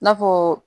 I n'a fɔ